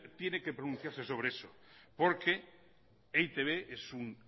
tiene que pronunciarse sobre eso porque e i te be es un